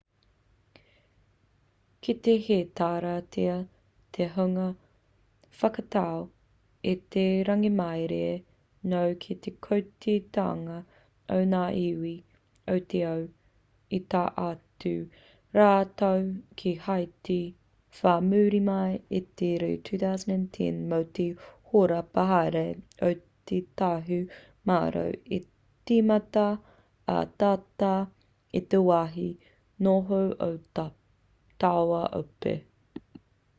kei te heitaratia te hunga whakatau i te rangimārie nō te kotahitanga o ngā iwi o te ao i tae atu rātou ki haiti whai muri mai i te rū 2010 mō te horapa haere o te tahumaero i tīmata ai tata ki te wāhi noho o taua ope